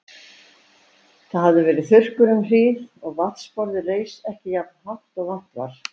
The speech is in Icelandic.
Það hafði verið þurrkur um hríð og vatnsborðið reis ekki jafnt hátt og vant var.